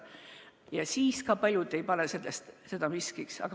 Aga ka siis ei pane paljud seda miskiks.